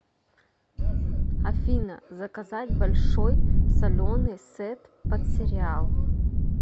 афина заказать большой соленый сет под сериал